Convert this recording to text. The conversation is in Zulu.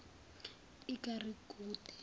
ikha ri gude